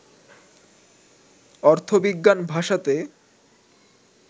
অর্থবিজ্ঞান ভাষাতে